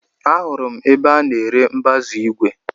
Ahụrụ m ebe a ná-ere mbazu igwe.